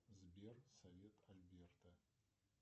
сбер совет альберта